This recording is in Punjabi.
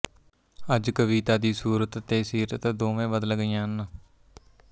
ਅੱਜ ਕਵਿਤਾ ਦੀ ਸੂਰਤ ਤੇ ਸੀਰਤ ਦੋਵੇਂ ਬਦਲ ਗਈਆਂ ਹਨ